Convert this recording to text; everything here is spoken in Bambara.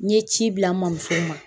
N ye ci bila n mamuso ma